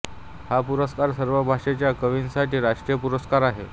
हा पुरस्कार सर्व भाषेच्या कवींसाठी राष्ट्रीय पुरस्कार आहे